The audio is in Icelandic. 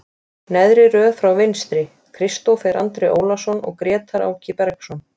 Neðri röð frá vinstri, Kristófer Andri Ólason og Grétar Áki Bergsson.